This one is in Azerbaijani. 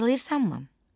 Xatırlayırsanmı?